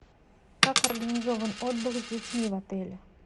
как организован отдых с детьми в отеле